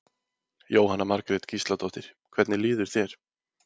Jóhanna Margrét Gísladóttir: Hvernig líður þér?